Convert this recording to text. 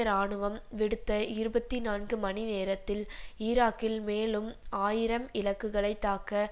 இராணுவம் விடுத்த இருபத்தி நான்கு மணி நேரத்தில் ஈராக்கில் மேலும் ஆயிரம் இலக்குகளை தாக்க